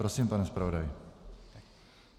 Prosím, pane zpravodaji.